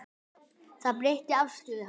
Það breytti afstöðu hans.